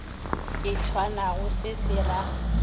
e tshwanago se se ra